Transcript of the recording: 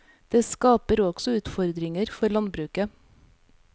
Det skaper også utfordringer for landbruket.